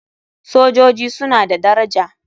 Sojoji suna da daraja.